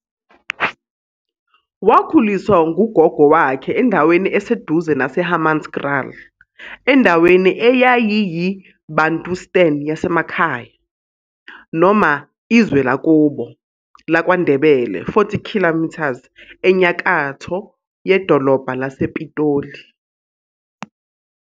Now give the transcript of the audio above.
Wakhuliswa ngugogo wakhe endaweni eseduze naseHammanskraal, endaweni eyayiyiBantustan yasemakhaya, noma "izwe lakubo, laKwaNdebele,40 km enyakatho yedolobha lasePitoli.